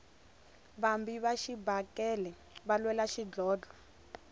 vabi va xibakele va lwela xidlhodlho